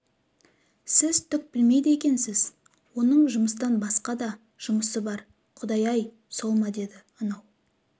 сіз түк білмейді екенсіз оның жұмыстан басқа да жұмысы бар құдай-ай сол ма деді анау